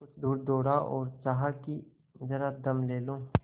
कुछ दूर दौड़ा और चाहा कि जरा दम ले लूँ